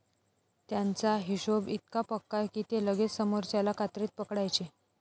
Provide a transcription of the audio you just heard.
त्यांचा हिशोभ इतका पक्का की ते लगेच समोरच्याला कात्रीत पकडायचे.